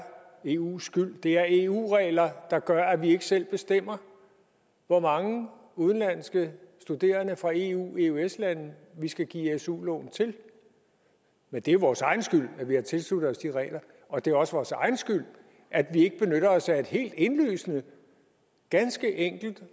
eus skyld det er er eu regler der gør at vi ikke selv bestemmer hvor mange udenlandske studerende fra eu eøs lande vi skal give su lån til men det er vores egen skyld at vi har tilsluttet os de regler og det er også vores egen skyld at vi ikke benytter os af et helt indlysende ganske enkelt